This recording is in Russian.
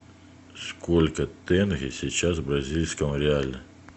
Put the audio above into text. сколько тенге сейчас в бразильском реале